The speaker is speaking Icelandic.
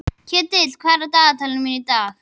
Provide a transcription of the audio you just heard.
Ketill, hvað er á dagatalinu mínu í dag?